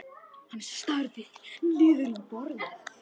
Hann starir niður í borðið.